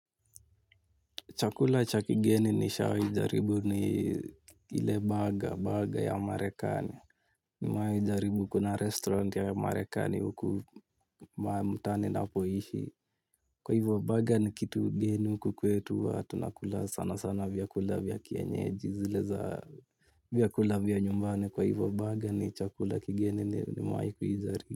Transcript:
Chakula cha kigeni nishawijaribu ni ile baga baga ya amarekani. Mwai jaribu kuna restaurant ya amarekani uku maa mutani napoishi. Kwa hivyo baga ni kitu geni uku kwetu huwa tunakula sana sana vyakula vyakienyeji. Zile za vyakula vya nyumbani kwa hivyo baga ni chakula kigeni nimewai ijaribu.